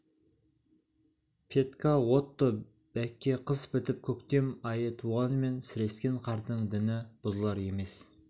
петька отто бәкке қыс бітіп көктем айы туғанымен сірескен қардың діні бұзылар емес